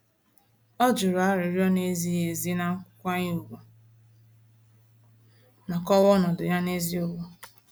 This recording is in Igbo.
Ọ juru arịrịọ na-ezighị ezi na nkwanye ùgwù ma kọwaa ọnọdụ ya n'eziokwu.